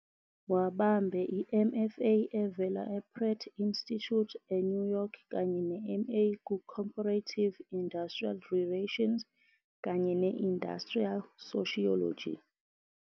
Wabambe i-MFA evela ePratt Institute eNew York kanye ne-MA ku-Comparative Industrial Relations kanye ne-Industrial Sociology.